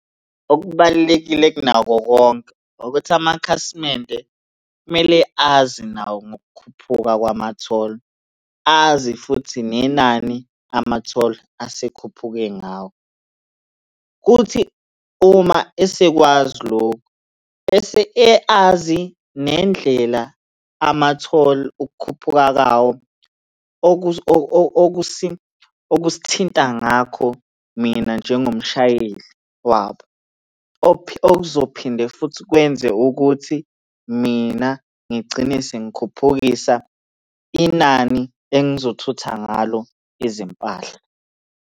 Okubalulekile kunakho konke ukuthi amakhasimende kumele azi nawo ngokukhuphuka kwama-toll. Azi futhi nenani ama-toll asekhuphuke ngawo, kuthi uma esekwazi lokhu, bese azi nendlela ama-toll ukukhuphuka kawo okusithinta ngakho mina njengomshayeli wabo. Okuzophinde futhi kwenze ukuthi mina ngigcine sengikhuphukisa inani engizothutha ngalo izimpahla.